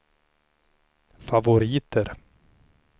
favoriter